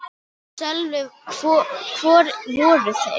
Sölvi: Hvar voru þeir?